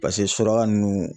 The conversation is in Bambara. paseke suraka nunnu